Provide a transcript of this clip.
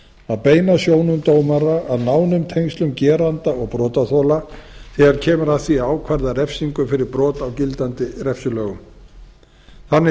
að beina sjónum dómara að nánum tengslum geranda og brotaþola þegar kemur að því að ákvarða refsingu fyrir brot á gildandi refsilögum þannig